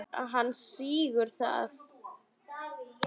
Hann þiggur það.